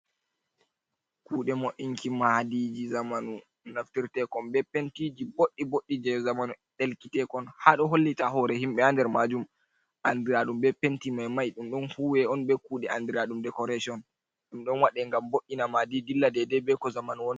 Kuɗe mo'inki madiji zamanu naftirtekon be pentiji boɗɗi boɗɗi je zamanu ɗelkitekon ha ɗo hollita hore himɓe ha nder majum andiraɗum be penti mai mai. Ɗum ɗon huwe on be kuɗe andiraɗum decoration. Ɗum ɗon waɗe ngam vo’ina madi dilla dedei be ko zamanu wontiri.